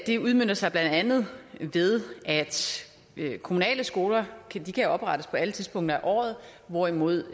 det udmønter sig blandt andet ved at kommunale skoler kan oprettes på alle tidspunkter af året hvorimod